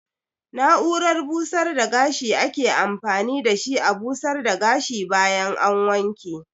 Na'urar busar da gashi ake amfani da shi a busar da gashi bayan an wanke.